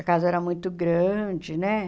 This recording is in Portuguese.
A casa era muito grande, né?